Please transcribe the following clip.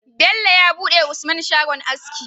Bello ya buɗe wa usman shagon aski